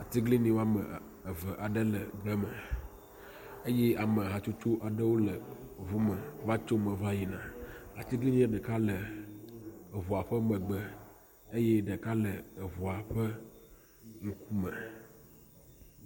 Atiglinyi woame ev aɖe le egbe me eye ame hatsotso aɖewo le ŋu me va tso me va yina. Atiglinyia ɖeka le ŋua ƒe megbe eye ɖeka le eŋua ƒe ŋkume.